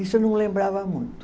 Isso eu não lembrava muito.